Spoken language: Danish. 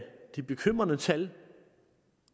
de bekymrende tal